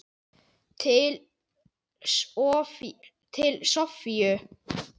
Til Soffíu.